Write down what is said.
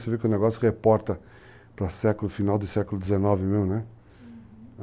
Você vê que o negócio reporta para o final do século XIX mesmo, né? Uhum.